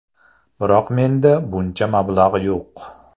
Biroq menda buncha mablag‘ yo‘q.